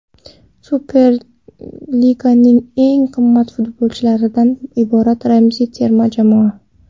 Superliganing eng qimmat futbolchilaridan iborat ramziy terma jamoa.